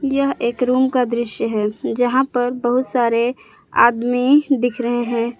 यह एक रूम का दृश्य है यहां पर बहुत सारे आदमी दिख रहे हैं।